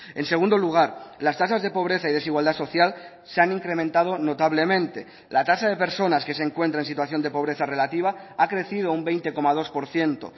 en segundo lugar las tasas de pobreza y desigualdad social se han incrementado notablemente la tasa de personas que se encuentra en situación de pobreza relativa ha crecido un veinte coma dos por ciento